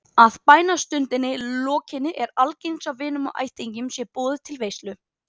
Að bænastundinni lokinni er algengt að vinum og ættingjum sé boðið til veislu.